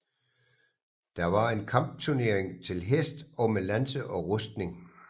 Det var en kampturnering til hest og med lanse og rustning